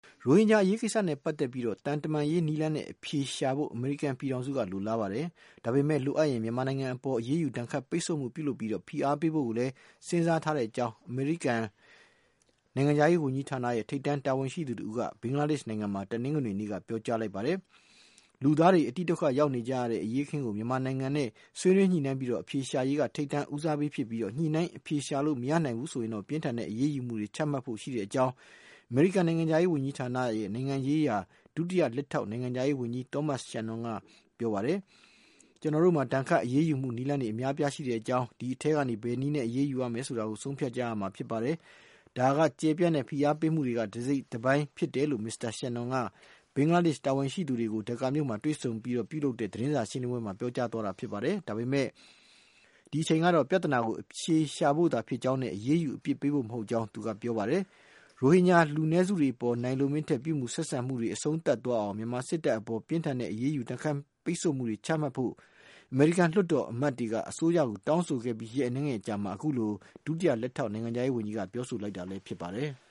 ရိုဟင်ဂျာအရေးကိစ္စနဲ့ ပတ်သက်ပြီး သံတမန်ရေးနည်းလမ်းနဲ့ အဖြေရှာဖို့ အမေရိကန်ပြည်ထောင်စုက လိုလားပါတယ်။ ဒါပေမယ့် လိုအပ်ရင် မြန်မာနိုင်ငံအပေါ် အရေးယူဒဏ်ခတ် ပိတ်ဆို့မှု ပြုလုပ်ပြီး ဖိအားပေးဖို့ကိုလည်း စဉ်းစား ထားကြောင်း အမေရိကန်နိုင်ငံခြားရေးဝန်ကြီးဌာန ထိပ်တန်းတာဝန်ရှိသူ တဦးက ဘင်္ဂလားဒေ့ရှ်နိုင်ငံမှာ တနင်္ဂနွေနေ့က ပြောကြားလိုက်ပါတယ်။ လူသားတွေ အတိဒုက္ခရောက်နေကြရတဲ့ အရေးအခင်းကို မြန်မာနိုင်ငံနဲ့ ဆွေးနွေးညှိနှိုင်းပြီး အဖြေရှာရေးက ထိပ်တန်း ဦးစားပေးကိစ္စ ဖြစ်ပြီး ညှိနှိုင်းအဖြေရှာလို့ မရနိုင်ဘူးဆိုရင်တော့ ပြင်းထန်တဲ့ အရေးယူမှုတွေ ချမှတ်ဖို့ ရှိတဲ့အကြောင်း အမေရိကန်နိုင်ငံခြားရေးဝန်ကြီးဌာန နိုင်ငံရေးရာ ဒုတိယဝန်ကြီး Thomas Shannon က ပြောပါတယ်။ ကျနော်တို့မှာ ဒဏ်ခတ်အရေးယူမှုနည်းလမ်းတွေ အများအပြားရှိကြောင်း အဲဒီထဲကနေ ဘယ်နည်းနဲ့ အရေးယူရမယ် ဆိုတာကို ဆုံးဖြတ်ရမှာ ဖြစ်တယ်။ ဒါဟာ ကျယ်ပြန့်တဲ့ ဖိအားပေးမှုတွေထဲက တစိတ်တပိုင်းဖြစ်တယ်လို့ ဒုဝန်ကြီး Shannon က ဘင်္ဂလားဒေ့ရှ် တာဝန်ရှိသူတွေနဲ့ ဒက္ကာမြို့မှာ တွေ့ဆုံအပြီး ပြုလုပ်တဲ့ သတင်းစာ ရှင်းလင်းပွဲမှာ ပြောကြားသွားတာ ဖြစ်ပါတယ်။ ဒါပေမဲ့ ဒီအချိန်မှာတော့ ပြဿနာကို အဖြေရှာဖို့သာဖြစ်ကြောင်းနဲ့ အရေးယူအပြစ်ပေးဖို့ မဟုတ်ကြောင်း ပြောပါတယ်။ ရိုဟင်ဂျာလူနည်းစုတွေအပေါ် နိုင်လိုမင်းထက် ပြုမူဆက်ဆံနေမှုတွေ အဆုံးသပ်သွားအောင် မြန်မာစစ်တပ် အပေါ် ပြင်းထန်တဲ့ အရေးယူဒဏ်ခတ်မှုတွေ ချမှတ်ဖို့ အမေရိကန် ဥပဒေပြုလွှတ်တော်အမတ်တွေက အစိုးရကို တောင်းဆိုခဲ့ပြီး ရက်အနည်းငယ်အကြာမှာ အခုလို ဒုတိယနိုင်ငံခြားရေးဝန်ကြီးက ပြောဆိုလိုက်တာဖြစ်ပါတယ်။